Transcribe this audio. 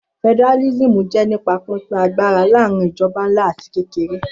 Federalism jẹ́ nípa pínpín agbára láàrin ìjọba ńlá àti kékeré